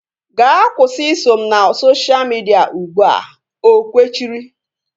Gaa kwụsị iso m na sosha midia ụgbụa! O kwechiri